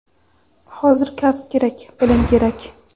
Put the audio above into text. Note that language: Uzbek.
Hozir kasb kerak, bilim kerak!.